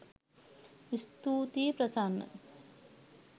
ස්තුතියි ප්‍රසන්න